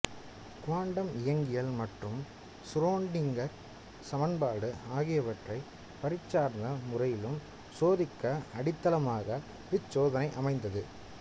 quantum இயங்கியல் மற்றும் Schrodinger சமன்பாடு ஆகியவற்றை பரீட்சார்த்த முறையிலும் சோதிக்க அடித்தளமாக இச்சோதனை அமைந்தது